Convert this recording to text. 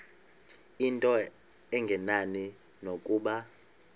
into engenani nokuba